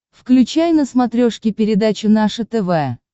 включай на смотрешке передачу наше тв